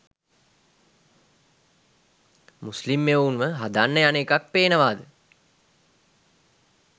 මුස්ලිම් එවුන්ව හදන්න යන එකක් පේනවද?